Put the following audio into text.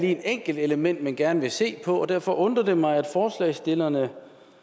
er et enkelt element man gerne vil se på derfor undrer det mig at forslagsstillerne